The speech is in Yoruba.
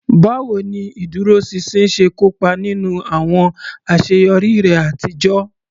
Báwo ni ìdúróṣinṣin ṣe kó ipa nínú àwọn àṣeyọrí rẹ àtijọ́?